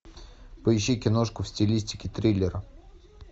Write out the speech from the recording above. поищи киношку в стилистике триллера